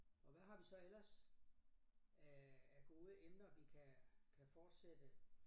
Og hvad har vi så ellers af af gode emner vi kan kan fortsætte